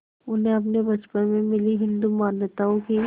उन्हें अपने बचपन में मिली हिंदू मान्यताओं की